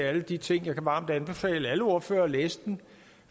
alle de ting jeg kan varmt anbefale alle ordførere at læse den